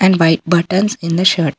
white button in the shirt --